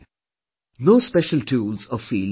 No special tools or fields are needed